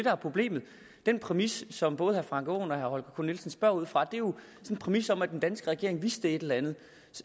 er problemet den præmis som både herre frank aaen og herre holger k nielsen spørger ud fra er jo en præmis om at den danske regering vidste et eller andet